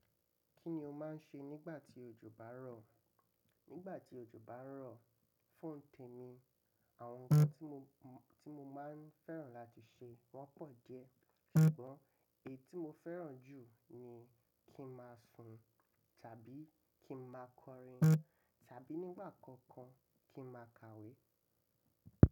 Kí ni o máa ń ṣe nígbà tí òjò bá ń rọ̀? Nígbà tí òjò bá ń rọ̀, fún témi, àwọn ohun tí mo, tí mo máa ń fẹ́ràn láti ṣe wọ́n pọ̀ diẹ́. Ṣùgbọ́n èyí tí mo fẹ́ràn jù ni kí n máa sùn tàbí kí n máa kọrin tàbí nígbà kankan kí n máa kàwé.